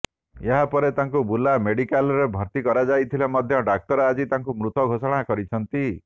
ଏହାପରେ ତାଙ୍କୁ ବୁର୍ଲା ମେଡିକାଲରେ ଭର୍ତ୍ତି କରାଯାଇଥିଲେ ମଧ୍ୟ ଡାକ୍ତର ଆଜି ତାଙ୍କୁ ମୃତ ଘୋଷଣା କରିଛନ୍ତି